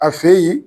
A feyi